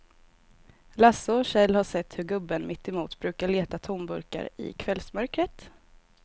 Lasse och Kjell har sett hur gubben mittemot brukar leta tomburkar i kvällsmörkret.